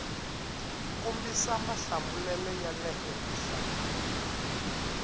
kombisa mahlamulelo ya le henhla